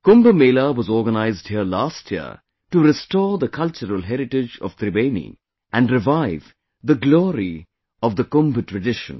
Kumbh Mela was organized here last year to restore the cultural heritage of Tribeni and revive the glory of Kumbh tradition